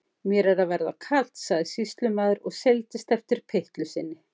Mér er að verða kalt, sagði sýslumaður og seildist eftir pyttlu sinni.